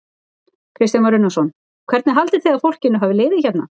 Kristján Már Unnarsson: Hvernig haldið þið að fólkinu hafi liðið hérna?